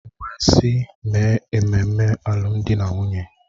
M wee sị, mee ememme alụmdi na nwunye!